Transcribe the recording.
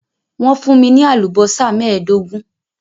Wọ́n fún mi ní àlùbọ́sà mẹ́ẹ̀ẹ́dógún